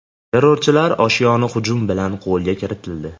Terrorchilar oshyoni hujum bilan qo‘lga kiritildi.